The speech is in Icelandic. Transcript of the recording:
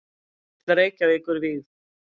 Sundhöll Reykjavíkur vígð.